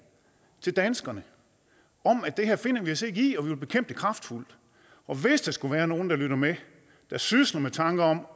til danskerne om at det her finder vi os ikke i og vil bekæmpe det kraftfuldt hvis der skulle være nogen der lytter med der sysler med tanker om